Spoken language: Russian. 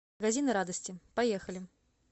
магазины радости поехали